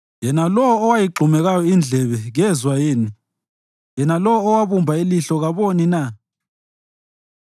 Yena lowo owayigxumekayo indlebe kezwa yini? Yena lowo owabumba ilihlo kaboni na?